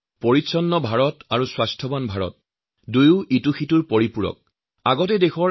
মই স্বচ্ছ ভাৰত আৰ সুস্থ ভাৰত দুয়োকে এটা আনটোৰ পৰিপূৰক বুলি বিশ্বাস কৰো